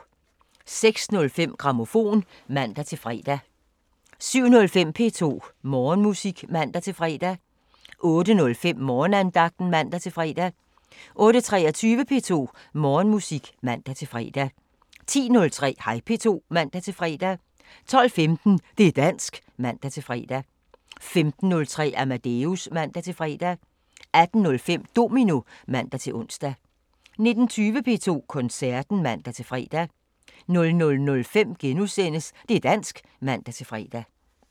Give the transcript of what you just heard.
06:05: Grammofon (man-fre) 07:05: P2 Morgenmusik (man-fre) 08:05: Morgenandagten (man-fre) 08:23: P2 Morgenmusik (man-fre) 10:03: Hej P2 (man-fre) 12:15: Det' dansk (man-fre) 15:03: Amadeus (man-fre) 18:05: Domino (man-ons) 19:20: P2 Koncerten (man-fre) 00:05: Det' dansk *(man-fre)